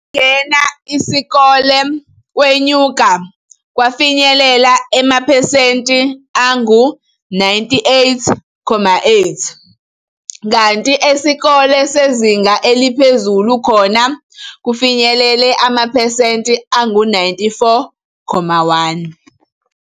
Ukungena isikole kwenyuka kwafinyelela amapesenti angu 98,8 kanti esikole sezinga eliphezulu khona kufinyelela amapesenti angu 94.1.